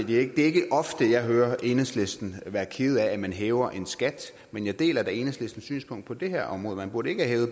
det er ikke ofte jeg hører enhedslisten være kede af at man hæver en skat men jeg deler da enhedslistens synspunkt på det her område man burde ikke have